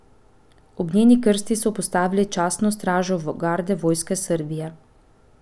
Ob njeni krsti so postavili častno stražo garde Vojske Srbije.